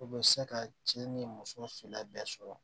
U bɛ se ka cɛ ni muso fila bɛɛ sɔrɔ